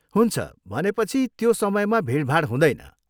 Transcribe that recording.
हुन्छ, भनेपछि त्यो समयमा भिडभाड हुँदैन।